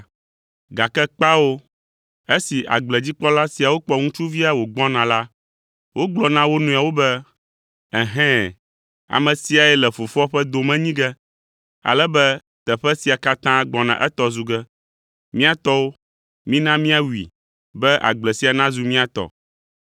“Gake kpao! Esi agbledzikpɔla siawo kpɔ ŋutsuvia wògbɔna la, wogblɔ na wo nɔewo be, ‘Ɛhɛ̃, ame siae le fofoa ƒe dome nyi ge, ale be teƒe sia katã gbɔna etɔ zu ge. Mía tɔwo, mina míawui be agble sia nazu mía tɔ!’ ”